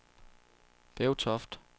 Bevtoft